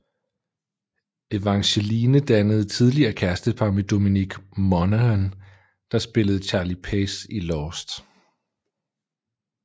Evangeline dannede tidligere kærestepar med Dominic Monaghan der spillede Charlie Pace i Lost